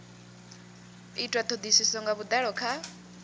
itwa thodisiso nga vhudalo kha